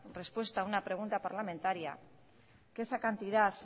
respuesta a una pregunta parlamentaria que esa cantidad